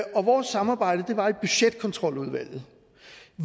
og vores samarbejde var i budgetkontroludvalget